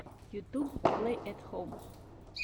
ютюб плэй эт хом